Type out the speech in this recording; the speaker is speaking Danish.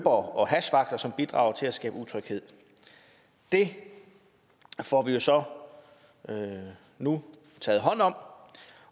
og hashvagter som bidrager til at skabe utryghed det får vi jo så nu taget hånd om